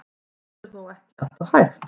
Þetta er þó ekki alltaf hægt.